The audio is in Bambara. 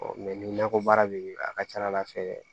ni nakɔ baara bɛ ye a ka ca ala fɛ